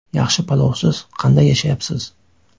Yaxshi palovsiz qanday yashayapsiz?